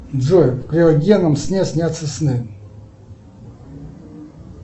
джой в криогенном сне снятся сны